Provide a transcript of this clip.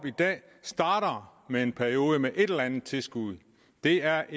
starter med en periode med et eller andet tilskud det er